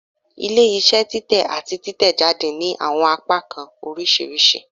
Ile-iṣẹ titẹ ati titẹjade ni awọn apakan oriṣiriṣi